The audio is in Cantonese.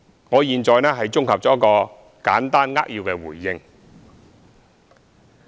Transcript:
我現在綜合作一個簡單扼要的回應。